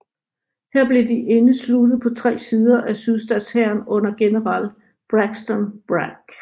Her blev de indesluttet på tre sider af sydstatshæren under general Braxton Bragg